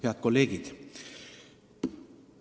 Head kolleegid!